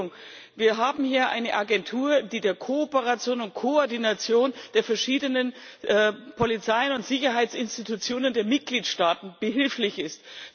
Entschuldigung, wir haben hier eine Agentur, die bei der Kooperation und Koordination der verschiedenen Polizei und Sicherheitsinstitutionen der Mitgliedstaaten behilflich ist.